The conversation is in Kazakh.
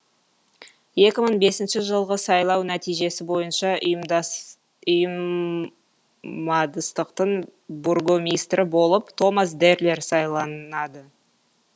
екі мың бесінші жылғы сайлау нәтижесі бойынша ұйыммадыстықтың бургомистрі болып томас дерлер сайланады